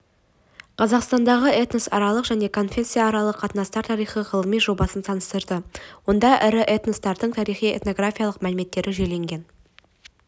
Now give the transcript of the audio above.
қазақстандағы этносаралық және конфессияаралық қатынастар тарихы ғылыми жобасын таныстырды онда ірі этностардың тарихи-этнографиялық мәліметтері жүйеленген